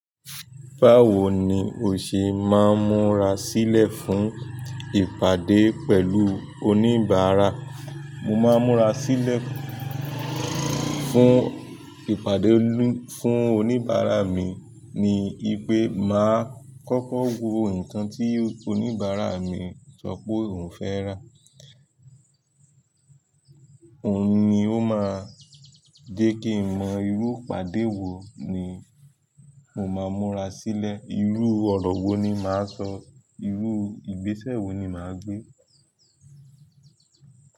Báwo ni o ṣe máa ń múra sílẹ̀ fún ìpàdé pẹ̀lú oníbàárà? Mo máa ń múra sílẹ̀ fún ìpàdé olu fún oníbàárà mi ní wípé màá kọ́kọ́ wo ǹkan tí oníbàárà mi sọ pé òun fẹ́ rà. Òun ni ó máa jẹ́ kí n mọ irú ìpàdé wo ni mo máa múra sílẹ̀, irú ọ̀rọ̀ wo ni màá sọ, irú ìgbésẹ̀ wo ni màá gbé.